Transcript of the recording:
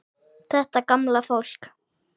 Þetta gamla fólk.